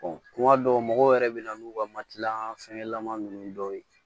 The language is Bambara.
kuma dɔw mɔgɔw yɛrɛ bɛ na n'u ka makiya fɛngɛlama ninnu dɔw ye